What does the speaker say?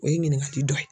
O ye ɲininkali dɔ ye